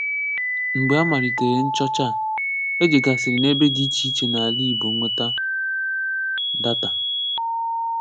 Mgbè à malìtèrè nchọ̀chà à, è jègàsị̀rị̀ n’ebè dị̀ ichè ichè n’alà Igbò nwetà dàtà.